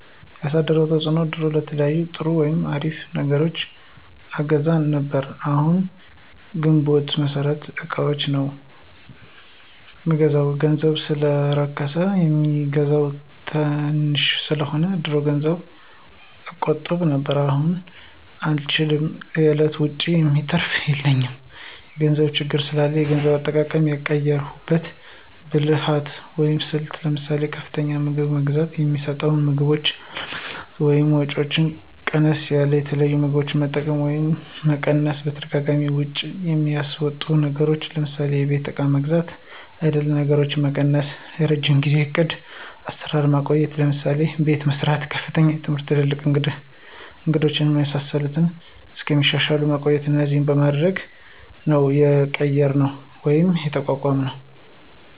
ያሳደረው ተፅዕኖ ድሮ የተለያዩ ጥሩ ወይም አሪፍ ነገሮችን አገዛ ነብር አሁን ግንቦት መሠረታዊ እቃዎችን ነው ምንገዛው ገንዘቡ ሰለረከስ የሚገዛው ተንሽ ሰለሆነ። ድሮ ገንዘብ እቆጥብ ነብር አሁን አንችልም ከእለት ወጭ የሚተራፍ የለም የገንዘብ ችግር ስላላ የገንዘብ አጠቃቀማችን የቀየራንበት ብልህት ወይም ስልት ለምሳሌ፦ ከፍተኛ የምግብ ገንዝብ የሚስወጡ ምግቦችን አለመግዛት ወይም ወጫቸው ቀነስ ያሉት የተለያዩ ምግቦች መጠቀም፣ ወጪ መቀነስ በተደጋጋሚ ወጭ የሚያስወጡ ነገሮችን ለምሳሌ የቤት እቃ መግዛት አይነት ነገሮችን መቀነሰ፣ የረጅም ጊዜው ዕቅድ አሰራር ማቆየት ለምሳሌ፦ አቤት መሰራት፣ ከፍተኛ ትምህርት ትላልቅ እንግዶች የመሳሰሉት እስከሚሻሻል ማቆየት እነዚህን በማድረግ ነው የቀየራነው ወይም የተቋቋምነውደ